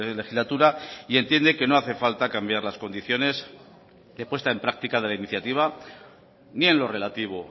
legislatura y entiende que no hace falta cambiar las condiciones de puesta en práctica de la iniciativa ni en lo relativo